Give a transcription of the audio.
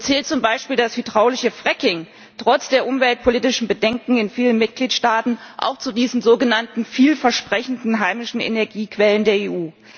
Zählt zum Beispiel das hydraulische Fracking trotz der umweltpolitischen Bedenken in vielen Mitgliedstaaten auch zu diesen sogenannten vielversprechenden heimischen Energiequellen der EU?